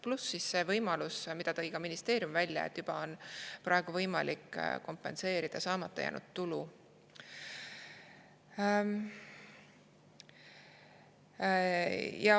Pluss see võimalus, mille tõi ka ministeerium välja, et juba praegu on võimalik kompenseerida saamata jäänud tulu.